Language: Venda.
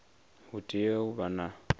hu tea u vha na